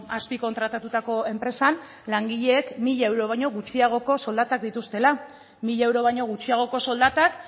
azpikontratatutako enpresan langileek mila euro baino gutxiagoko soldatak dituztela mila euro baino gutxiagoko soldatak